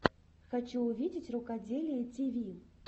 хочу увидеть рукоделие тиви